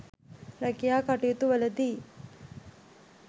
රැකියා කටයුතුවලදී